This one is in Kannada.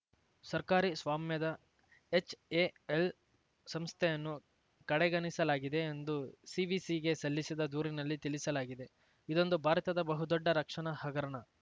ಸರ್ಕಾರಿ ಸ್ವಾಮ್ಯದ ಎಚ್‌ಎಎಲ್‌ ಸಂಸ್ಥೆಯನ್ನು ಕಡೆಗಣಿಸಲಾಗಿದೆ ಎಂದು ಸಿವಿಸಿಗೆ ಸಲ್ಲಿಸಿದ ದೂರಿನಲ್ಲಿ ತಿಳಿಸಲಾಗಿದೆ ಇದೊಂದು ಭಾರತದ ಬಹುದೊಡ್ಡ ರಕ್ಷಣಾ ಹಗರಣ